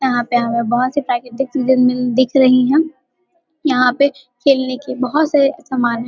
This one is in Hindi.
यहाँ पे हमें बोहोत से दिख रही है। यहाँ पे खेलने की बोहोत से सामान --